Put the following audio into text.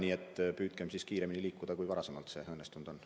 Nii et püüdkem kiiremini liikuda, kui seni õnnestunud on.